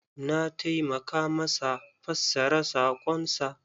Na taimaka masa fassara sakon sa.